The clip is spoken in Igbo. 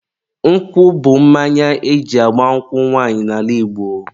nkwụ bụ mmanya eji agba nkwụ nwanyị n'ala Igbo